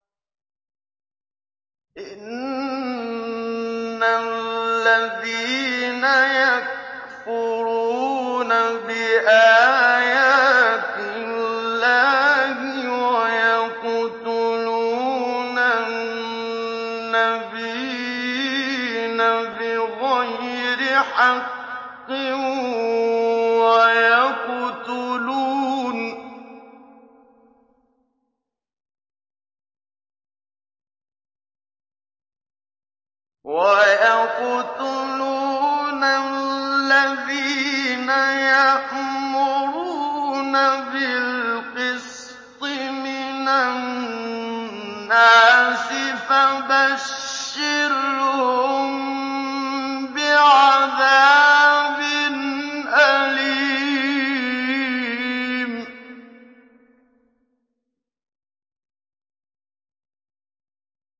إِنَّ الَّذِينَ يَكْفُرُونَ بِآيَاتِ اللَّهِ وَيَقْتُلُونَ النَّبِيِّينَ بِغَيْرِ حَقٍّ وَيَقْتُلُونَ الَّذِينَ يَأْمُرُونَ بِالْقِسْطِ مِنَ النَّاسِ فَبَشِّرْهُم بِعَذَابٍ أَلِيمٍ